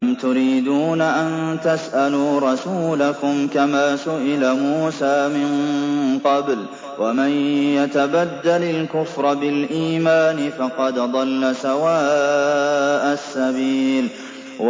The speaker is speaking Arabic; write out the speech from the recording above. أَمْ تُرِيدُونَ أَن تَسْأَلُوا رَسُولَكُمْ كَمَا سُئِلَ مُوسَىٰ مِن قَبْلُ ۗ وَمَن يَتَبَدَّلِ الْكُفْرَ بِالْإِيمَانِ فَقَدْ ضَلَّ سَوَاءَ السَّبِيلِ